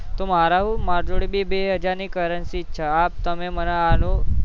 તો મારે હું મારાં બી જોડે બે બે હજાર ની currency જ છે તમે મને આનું